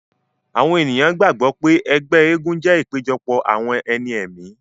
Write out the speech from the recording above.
Àwọn èèyàn gbàgbọ́ pé ẹgbẹ́ egúngún jẹ́ ìpéjọpọ̀ àwọn ẹni ẹ̀mí